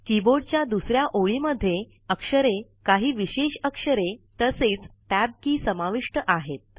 कीबोर्डच्या दुसऱ्या ओळी मध्ये अक्षरे काही विशेष अक्षरे तसेच टॅब की समाविष्ट आहे